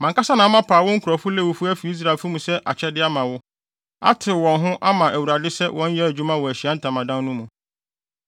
Mʼankasa na mapaw wo nkurɔfo Lewifo afi Israelfo mu sɛ akyɛde ama wo, atew wɔ ho ama Awurade sɛ wɔnyɛ adwuma wɔ Ahyiae Ntamadan no mu.